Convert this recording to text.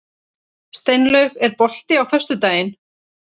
Steinlaug, er bolti á föstudaginn?